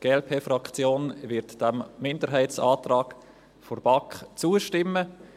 Die Glp-Fraktion wird diesem Minderheitsantrag der BaK zustimmen.